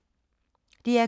DR K